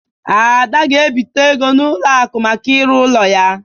Ada ga-ebite ego n'ụlọ akụ maka irụ ụlọ ya.